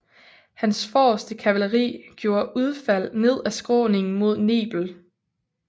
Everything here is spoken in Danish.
Hans forreste kavaleri gjorde udfald ned af skråningen mod Nebel